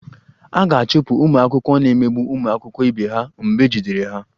A ga-achụpụ ụmụ akwụkwọ na-emegbu ụmụ akwụkwọ ibe ha mgbe ejidere ha